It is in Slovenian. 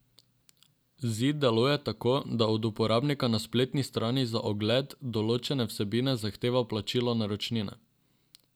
Zid deluje tako, da od uporabnika na spletni strani za ogled določene vsebine zahteva plačilo naročnine.